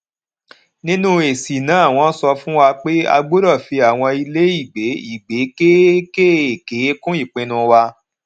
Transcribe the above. nínú èsì náà wón sọ fún wa pé a gbódò fi àwọn ilé ìgbé ìgbé kéékèèkéé kún ipinu wa